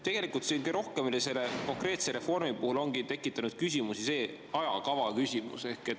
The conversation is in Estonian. Tegelikult ongi kõige rohkem selle konkreetse reformi puhul tekitanud küsimusi ajakava.